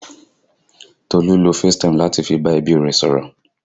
Tolu lo facetime láti fi bá ẹbí rẹ sọ̀rọ̀